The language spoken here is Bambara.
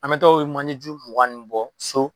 An be taa o manje ju mugan nunnu bɔ so